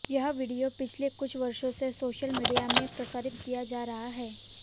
यह वीडियो पिछले कुछ वर्षों से सोशल मीडिया में प्रसारित किया जा रहा है